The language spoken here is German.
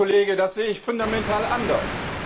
Herr Kollege, das sehe ich fundamental anders.